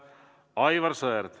Aivar Sõerd.